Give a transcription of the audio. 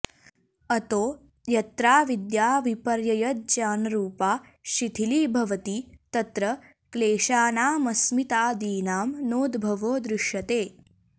अतो यत्राविद्या विपर्ययज्ञानरूपा शिथिलीभवति तत्र क्लेशानामस्मितादीनां नोद्भवो दृश्यते